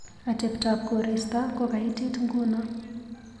Ateptap korista kokaitit ngunoo.